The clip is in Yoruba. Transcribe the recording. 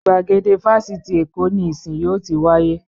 Gbàgede Fáfitì Èkó ni ìsìn yóò ti wáyé.